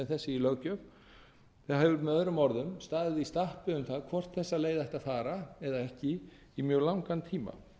í löggjöf það hefur möo staðið í stappi um það hvort þessa leið ætti að fara eða ekki í mjög langan tíma